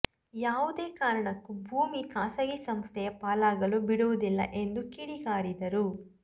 ಯಾವುದೇ ಕಾರಣಕ್ಕೂ ಭೂಮಿ ಖಾಸಗಿ ಸಂಸ್ಥೆಯ ಪಾಲಾಗಲು ಬಿಡುವುದಿಲ್ಲ ಎಂದು ಕಿಡಿಕಾರಿದರು